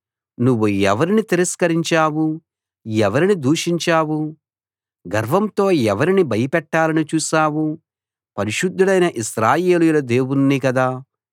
నువ్వు ఎవరిని తిరస్కరించావు ఎవరిని దూషించావు గర్వంతో ఎవరిని భయపెట్టాలని చూశావు పరిశుద్ధుడైన ఇశ్రాయేలీయుల దేవుణ్ణి కదా